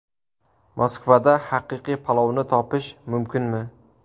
Moskvada haqiqiy palovni topish mumkinmi?